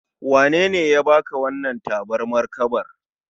Wanene ya baka wannan tabarmar kabar?